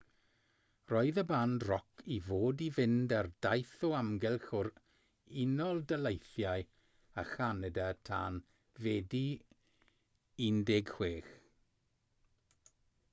roedd y band roc i fod i fynd ar daith o amgylch yr unol daleithiau a chanada tan fedi 16